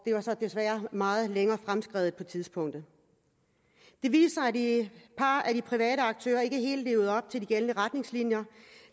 var så desværre meget længere fremskreden på det tidspunkt det par af de private aktører ikke helt levede op til de gældende retningslinjer